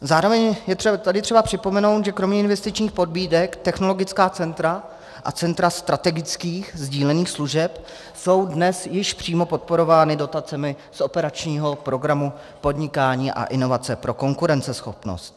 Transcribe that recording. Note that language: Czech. Zároveň je tady třeba připomenout, že kromě investičních pobídek technologická centra a centra strategických sdílených služeb jsou dnes již přímo podporována dotacemi z operačního programu Podnikání a inovace pro konkurenceschopnost.